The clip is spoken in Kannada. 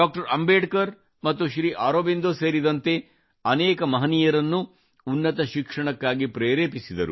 ಅಂಬೇಡ್ಕರ್ ಮತ್ತು ಶ್ರೀ ಅರಬಿಂದೋ ಸೇರಿದಂತೆ ಅನೇಕ ಮಹನೀಯರನ್ನು ಉನ್ನತ ಶಿಕ್ಷಣಕ್ಕಾಗಿ ಪ್ರೇರೇಪಿಸಿದರು